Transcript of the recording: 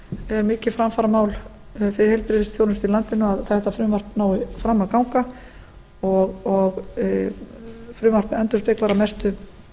er mikið framfaramál fyrir heilbrigðisþjónustu í landinu að þetta frumvarp nái fram að ganga frumvarpið endurspeglar að mestu